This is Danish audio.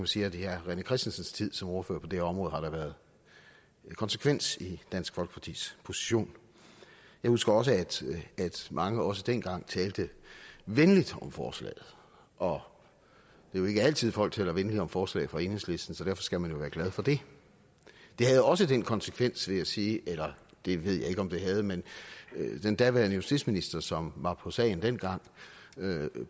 sige at i herre rené christensens tid som ordfører på det område har der været konsekvens i dansk folkepartis position jeg husker også at mange også dengang talte venligt om forslaget og det er jo ikke altid folk taler venligt om forslag fra enhedslisten så derfor skal man jo være glad for det det havde også den konsekvens vil jeg sige eller det ved jeg ikke om det havde men den daværende justitsminister som var på sagen dengang